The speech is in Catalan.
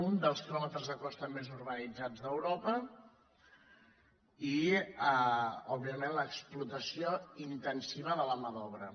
un dels quilòmetres de costa més urbanitzats d’europa i òbviament l’explotació intensiva de la mà d’obra